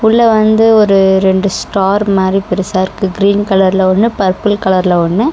இதுல வந்து ஒரு ரெண்டு ஸ்டார் மாரி பெருசா இருக்கு. கிரீன் கலர்ல ஒன்னு பர்பிள் கலர்ல ஒன்னு.